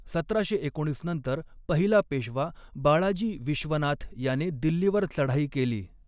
सतराशे एकोणीस नंतर पहिला पेशवा बाळाजी विश्वनाथ याने दिल्लीवर चढाई केली.